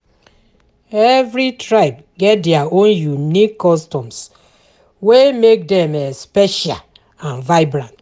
Every tribe get their own unique customs wey make dem special and vibrant.